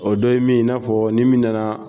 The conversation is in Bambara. O dɔ ye min ye i n'a fɔ ni min nana.